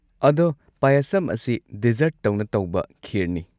ꯑꯗꯣ ꯄꯌꯥꯁꯝ ꯑꯁꯤ ꯗꯤꯖꯔꯠꯇꯧꯅ ꯇꯧꯕ ꯈꯤꯔꯅꯤ꯫